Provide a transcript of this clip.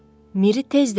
Miri tez dedi.